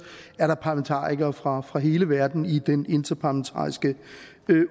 er der parlamentarikere fra fra hele verden i den interparlamentariske